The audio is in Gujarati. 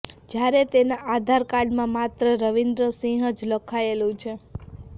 જ્યારે તેના આધાર કાર્ડમાં માત્ર રવીન્દ્ર સિંહ જ લખાયેલું છે